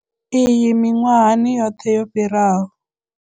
Iyi miṅwahani yoṱhe yo fhiraho.